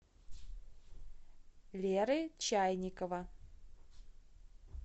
леры чайникова